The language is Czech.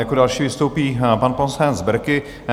Jako další vystoupí pan poslanec Berki.